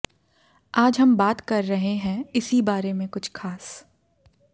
आज हम बात कर रहे हैं इसी बारे में कुछ खास